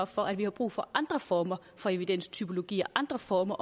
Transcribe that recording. for at vi har brug for andre former for evidenstypologier andre former